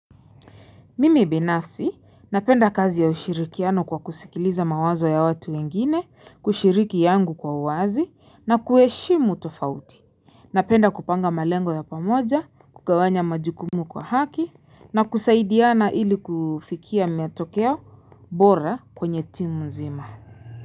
Mimi binafsi napenda kazi ya ushirikiano kwa kusikiliza mawazo ya watu wengine, kushiriki yangu kwa uwazi na kuheshimu tofauti napenda kupanga malengo ya pamoja kugawanya majukumu kwa haki na kusaidiana ili kufikia meatokea bora kwenye timu nzima.